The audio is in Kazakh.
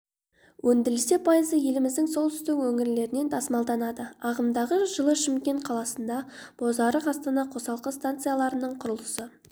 өндірілсе пайызы еліміздің солтүстік өңірлерінен тасымалданады ағымдағы жылы шымкент қаласында бозарық астана қосалқы станцияларының құрылысы